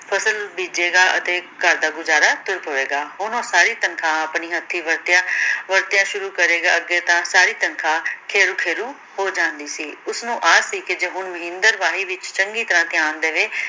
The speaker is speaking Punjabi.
ਫਸਲ ਬੀਜੇਗਾ ਅਤੇ ਘਰ ਦਾ ਗੁਜ਼ਾਰਾ ਤੁਰ ਪਵੇਗਾ, ਹੁਣ ਉਹ ਸਾਰੀ ਤਨਖਾਹ ਆਪਣੀ ਹੱਥੀ ਵਰਤਿਆ ਵਰਤਿਆ ਸ਼ੁਰੂ ਕਰੇਗਾ, ਅੱਗੇ ਤਾਂ ਸਾਰੀ ਤਨਖਾਹ ਖੇਰੂ ਖੇਰੂ ਹੋ ਜਾਂਦੀ ਸੀ ਉਸਨੂੰ ਆਸ ਸੀ ਕਿ ਜੇ ਹੁਣ ਮਹਿੰਦਰ ਵਾਹੀ ਵਿਚ ਚੰਗੀ ਤਰਾਂ ਧਿਆਨ ਦੇਵੇ